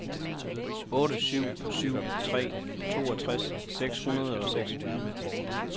otte syv syv tre toogtres seks hundrede og seksogtyve